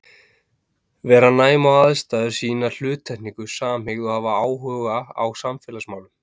Vera næm á aðstæður, sýna hluttekningu, samhygð og hafa áhuga á samfélagsmálum.